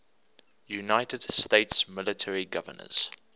united states military governors